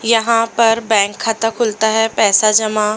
यहां पर बैंक खाता खुलता है पैसा जमा--